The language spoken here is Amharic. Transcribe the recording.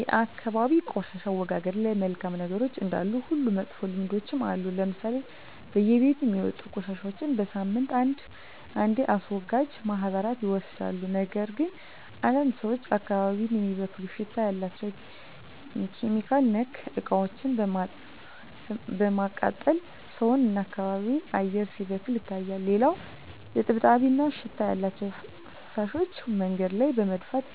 የአካባቢ የቆሻሻ አወጋገድ ላይ መልካም ነገሮች እንዳሉ ሁሉ መጥፎ ልምዶችም አሉ ለምሳሌ በየቤቱ የሚወጡ ቆሻሻዎች በሳምንት አንዴ አስወጋጅ ማህበራት ይወስዱታል ነገር ግን አንዳንድ ሰዎች አካባቢን የሚበክል ሽታ ያላቸው (ኬሚካል)ነክ እቃዎችን በማቃጠል ሰውን እና የአካባቢ አየር ሲበከል ይታያል። ሌላው እጥብጣቢ እና ሽታ ያላቸው ፍሳሾች መንገድ ላይ በመድፋት